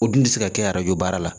O dun tɛ se ka kɛ arajo baara la